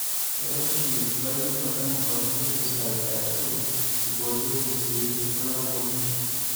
eoshi laijo botanical pesticides aashu eiboorieki sii nkulak oonkishu